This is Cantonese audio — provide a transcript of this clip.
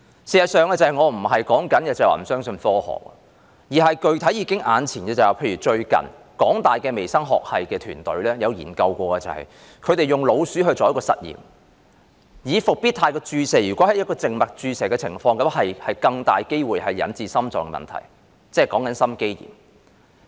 事實上，我不是說不相信科學，而是具體上看到，例如香港大學微生物學系團隊最近曾進行一項研究，他們用老鼠做實驗，發現復必泰在靜脈注射的情況下會有較大機會引致心臟問題，即心肌炎。